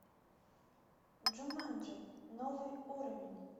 джуманджи новый уровень